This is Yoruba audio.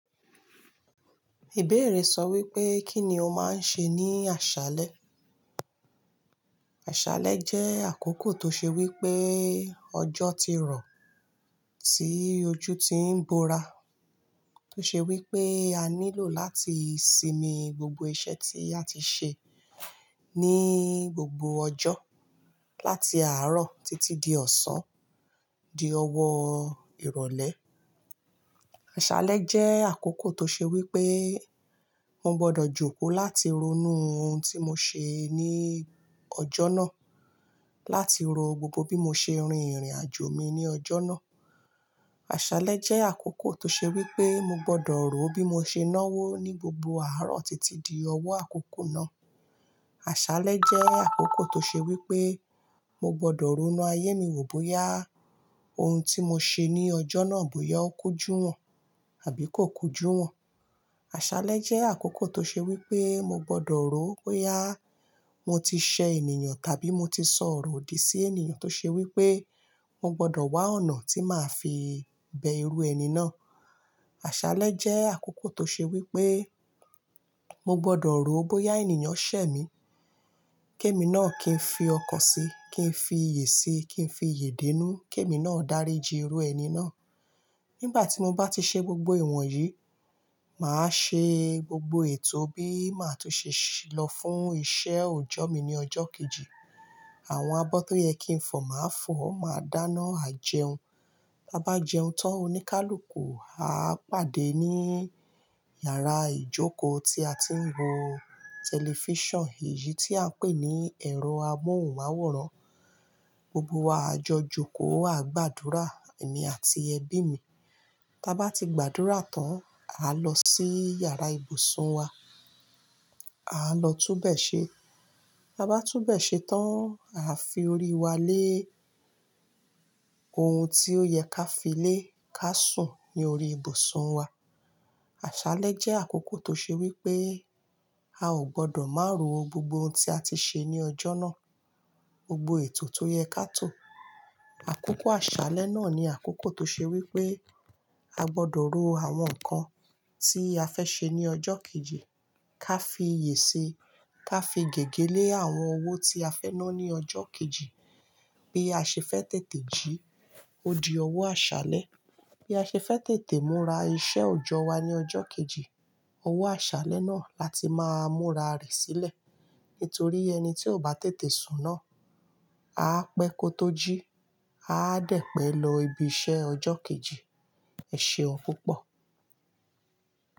Ìbéèrè sọ wípé kí ni o máa ń ṣe ní àṣálẹ́? Àṣálẹ́ jẹ́ àkókò tó ṣe wípé ọjọ́ ti rọ̀, tí ojú ti ń bora, tó ṣe wípé a nílò láti sinmi gbogbo iṣẹ́ tí a ti ṣe ní gbogbo ọjọ́ láti àárọ̀ títí di ọ̀sán, di ọwọ́ ìrọ̀lẹ́. Àṣálẹ́ jẹ́ àkókò tó ṣe wípé mo gbọdọ̀ jókòó láti ronú ohun tí mo ṣe ní ọjọ́ náà, láti ro gbogbo bí mo ṣe rin ìrìnàjò mi ní ọjọ́ náà. Àṣálẹ́ jẹ́ àkókò tó ṣe wípé mo gbọdọ̀ rò ó bí mo ṣe náwó ní gbogbo àárọ̀ títí di ọwọ́ àkókò náà. Àṣálẹ́ jẹ́ àkókò tó ṣe wípé mo gbọdọ̀ ronú ayé mi wò bóyá ohun tí mo ṣe ní ọjọ́ náà bóyá ó kú jù wọ́n àbí kò kú jù wọ́n. Àṣálẹ́ jẹ́ àkókò tó ṣe wípé mo gbọdọ̀ rò ó bóyá mo ti ṣẹ ènìyàn tàbí mo ti sọ ọ̀rọ̀ òdì sí ènìyàn tó ṣe wípé mo gbọdọ̀ wá ọ̀nà tí màá fi bẹ irú ẹni náà. Àṣálẹ́ jẹ́ àkókò tó ṣe wípé mo gbọdọ̀ rò ó bóyá ènìyàn ṣẹ mí, kí èmi náà kí n fi ọkàn si, kí n fi iyè si, kí n fi iyè dénú, kí èmi náà dáríji irú ẹni náà. Nígbà tí mo bá ti ṣe gbogbo ìwọ̀n yìí, màá ṣe gbogbo ètò bí màá tún ṣe lọ fún iṣẹ́ òjọ́ mi ní ọjọ́ kejì. Àwọn abọ́ tó yẹ kí n fọ̀, màá fọ̀, màá dáná, à jẹun. Bá bá jẹun tán, oníkálùúkù, a pàdé ní yàrá ìjókòó tí a ti ń wo tẹlifíṣàn, èyí tí à ń pè ní ẹ̀rọ amóhùnmáwòrán. Gbogbo wa á jọ jókòó, á gbàdúrà, èmi àti ẹbí mi. Tá bá ti gbàdúrà tán, a lọ sí yàrá ibùsùn wa, a lọ túbẹ̀ṣẹ. Bá bá túbẹ̀ṣẹ tán, a fi ori wa lé ohun tí ó yẹ ká fi lé, ká sùn ní ori ibùsùn wa. Àṣálẹ́ jẹ́ àkókò tó ṣe wípé a ò gbọdọ̀ má ro gbogbo ohun tí a ti ṣe ní ọjọ́ náà, gbogbo ètò tó yẹ ká tò. Àkókò àṣálẹ́ náà ni àkókò tó ṣe wípé a gbọdọ̀ ro àwọn nǹkan tí a fẹ́ ṣe ní ọjọ́ kejì, ká fi iyè ṣe, ká fi gègé lé àwọn owó tí a fẹ́ ná ní ọjọ́ kejì. Bí a ṣe fẹ́ tètè jí odi ọwọ́ àṣálẹ́, bí a ṣe fẹ́ tètè múra iṣẹ́ òjọ́ wa ní ọjọ́ kejì, owó àṣálẹ́ náà láti máa múra rẹ̀ sílẹ̀. Nítorí ẹni tí ò bá tètè sun naa, a pẹ́ kó tó jí, a á dẹ̀ pẹ́ lọ ibi iṣẹ́ ọjọ́ kejì. Ẹ ṣe un púpọ̀.